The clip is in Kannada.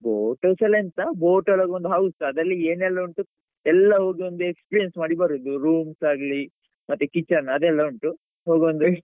Boat house ಅಲ್ಲಿ ಎಂತ boat ಒಳಗೊಂದು house ಅದ್ರಲ್ಲಿ ಏನೆಲ್ಲ ಉಂಟು ಎಲ್ಲಾ ಹೋಗಿ ಒಂದು experience ಮಾಡಿ ಬರುದು rooms ಆಗ್ಲಿ ಮತ್ತೆ kitchen ಅದೆಲ್ಲ ಉಂಟು, ಹೋಗಿ ಒಂದು,